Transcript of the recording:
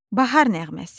Bahar nəğməsi.